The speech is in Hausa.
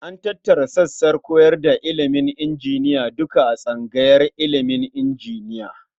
An tattara sassan koyar da ilimin injiniya duka a tsangayar ilimin injiniya.